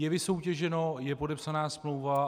Je vysoutěženo, je podepsaná smlouva.